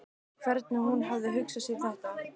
Hvernig hún hafi hugsað sér þetta.